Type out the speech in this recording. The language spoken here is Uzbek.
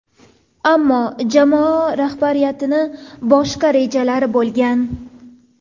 Ammo jamoa rahbariyatining boshqa rejalari bo‘lgan.